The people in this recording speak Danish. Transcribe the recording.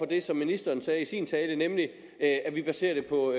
det som ministeren sagde i sin tale nemlig at vi baserer det på